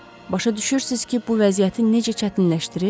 Başa düşürsüz ki, bu vəziyyəti necə çətinləşdirir?